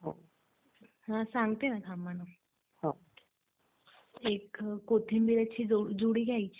त्यामुळे चांगल्या प्रतीचा चारा आवड आणि त्याचं सायलेज किंवा त्याचा मुरघास बनवणे.